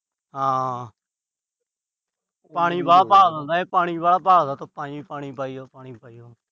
ਹਾਂ। ਪਾਣੀ ਵਾਹਲਾ ਭਾਲਦਾ ਇਹ। ਪਾਣੀ ਵਾਹਲਾ ਭਾਲਦਾ। ਧੁੱਪਾਂ ਚ ਵੀ ਪਾਣੀ ਪਾਈ ਜਾਓ। ਅਹ ਪਾਣੀ ਪਾਈ ਜਾਓ।